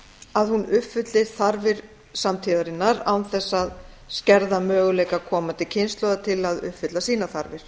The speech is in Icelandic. að hún uppfyllir þarfir samtíðarinnar án þess að skerða möguleika komandi kynslóða til að uppfylla sínar þarfir